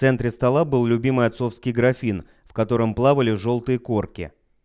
в центре стола был любимый отцовский графин в котором плавали в жёлтые корки